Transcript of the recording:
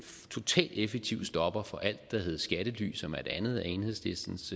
total effektiv stopper for alt hvad der hedder skattely som er et andet af enhedslistens